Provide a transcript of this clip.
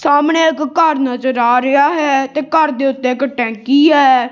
ਸਾਹਮਣੇ ਇੱਕ ਘਰ ਨਜ਼ਰ ਆ ਰਿਹਾ ਹੈ ਘਰ ਦੇ ਉੱਤੇ ਇੱਕ ਟੈਂਕੀ ਐ।